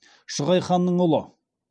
шығай ханның ұлы